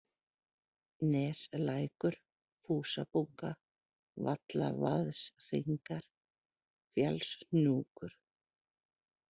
Neslækur, Fúsabunga, Vallavaðshringar, Fjallshnjúkur